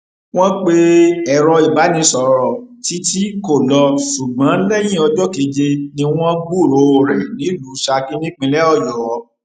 wọn pe ẹrọ ìbánisọrọ títí kò lọ ṣùgbọn lẹyìn ọjọ keje ni wọn gbúròó rẹ nílùú saki nípínlẹ ọyọ